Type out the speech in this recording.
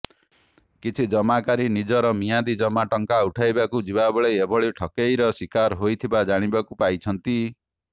କିଛି ଜମାକାରୀ ନିଜର ମିଆଦୀ ଜମା ଟଙ୍କା ଉଠାଇବାକୁ ଯିବାବେଳେ ଏଭଳି ଠକେଇର ଶିକାର ହୋଇଥିବା ଜାଣିବାକୁ ପାଇଛନ୍ତି